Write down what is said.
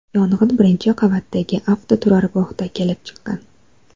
Yong‘in birinchi qavatdagi avtoturargohda kelib chiqqan.